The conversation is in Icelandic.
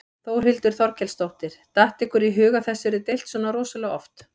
Þórhildur Þorkelsdóttir: Datt ykkur í hug að þessu yrði deilt svona rosalega oft?